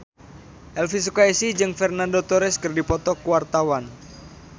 Elvy Sukaesih jeung Fernando Torres keur dipoto ku wartawan